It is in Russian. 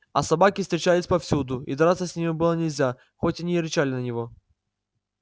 а собаки встречались повсюду и драться с ними было нельзя хоть они рычали на него